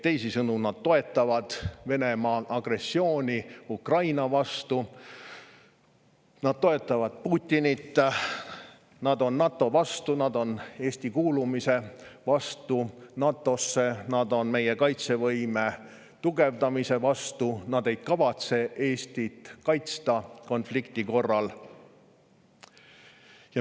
Teisisõnu: nad toetavad Venemaa agressiooni Ukraina vastu, nad toetavad Putinit, nad on NATO vastu, nad on Eesti NATO‑sse kuulumise vastu, nad on meie kaitsevõime tugevdamise vastu, nad ei kavatse Eestit konflikti korral kaitsta.